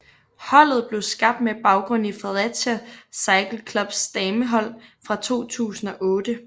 Holdet blev skabt med baggrund i Fredericia Cycle Clubs damehold fra 2008